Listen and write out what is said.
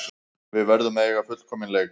Við verðum að eiga fullkominn leik